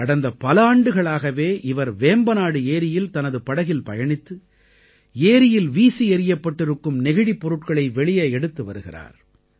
கடந்த பல ஆண்டுகளாகவே இவர் வேம்பநாடு ஏரியில் தனது படகில் பயணித்து ஏரியில் வீசி எறியப்பட்டிருக்கும் நெகிழிப் பொருட்களை வெளியே எடுத்து வருகிறார்